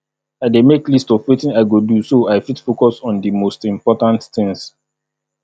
i dey make list of wetin i go do so i fit focus on di most important things